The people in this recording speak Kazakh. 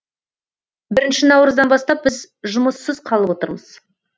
бірінші наурыздан бастап біз жұмыссыз қалып отырмыз